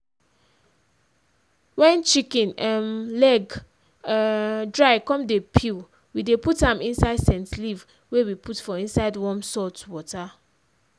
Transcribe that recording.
wen chicken um leg um dry come dey peel we dey put am inside scent leaf wey we put for inside warm salt water.